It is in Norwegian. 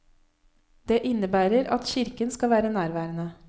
Det innebærer at kirken skal være nærværende.